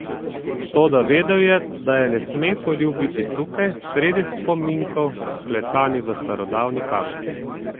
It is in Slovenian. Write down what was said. Toda vedel je, da je ne sme poljubiti tukaj, sredi spominov, vklesanih v starodavni kamen.